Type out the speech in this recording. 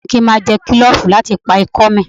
Ọ̀rẹ́ mi ni kí n máa jẹ kílòfù láti pa ikọ́ mi